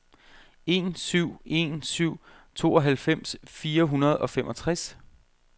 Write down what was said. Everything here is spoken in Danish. en syv en syv tooghalvfems fire hundrede og femogtres